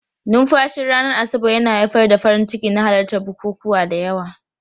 Numfashin ranar Asabar yana haifar da farin ciki na halartar bukukuwa da yawa.